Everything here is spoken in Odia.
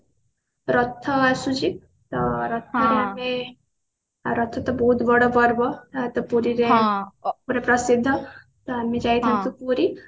ରଥ ଆସୁଛି ଅ ରଥ ରେ ଆମେ ଆଉ ରଥ ତ ବହୁତ ବଡ ପର୍ବ ଆ ତ ପୁରୀ ରେ ପୁରା ପ୍ରସିଦ୍ଧ ତ ଆମେ ଯାଇଥାନ୍ତୁ ପୁରୀ